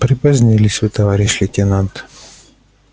припозднились вы товарищ лейтенант